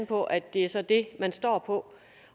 på at det så er det man står på